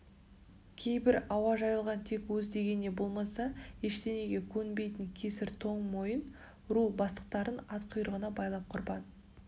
кейбір ауа жайылған тек өз дегеніне болмаса ештеңеге көнбейтін кесір тоң мойын ру бастықтарын ат құйрығына байлап құрбан